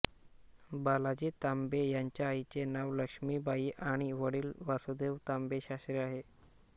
बालाजी तांबे यांच्या आईचे नाव लक्ष्मीबाई आणि वडील वासुदेव तांबे शास्त्री आहे